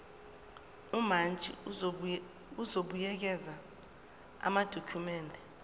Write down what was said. umantshi uzobuyekeza amadokhumende